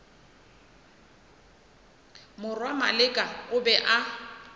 morwa maleka o be a